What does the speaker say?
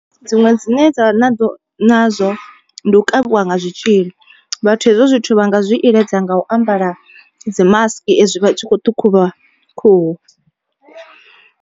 Dziṅwe dzine dza vha na ḓo nazwo ndi u kavhiwa nga zwitzhili, vhathu hezwo zwithu vha nga zwi iledza nga u ambara dzi masiki ezwi vha tshi kho ṱhukhula khuhu.